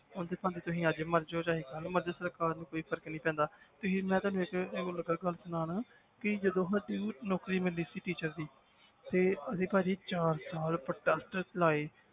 ਉਹਨਾਂ ਨੂੰ ਤੇ ਭਾਵੇਂ ਤੁਸੀਂ ਅੱਜ ਮਰ ਜਾਓ ਚਾਹੇ ਕੱਲ੍ਹ ਮਰ ਜਾਓ ਸਰਕਾਰ ਨੂੰ ਕੋਈ ਫ਼ਰਕ ਨੀ ਪੈਂਦਾ ਤੁਸੀਂ ਮੈਂ ਤੁਹਾਨੂੰ ਲੱਗਾ ਗੱਲ ਸੁਣਾਉਣ ਕਿ ਜਦੋਂ ਸਾਨੂੰ ਨੌਕਰੀ ਮਿਲਣੀ ਸੀ teacher ਦੀ ਤੇ ਅਸੀਂ ਭਾਜੀ ਚਾਰ ਸਾਲ protest ਚਲਾਏ